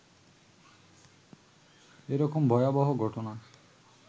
এ রকম ভয়বহ ঘটনা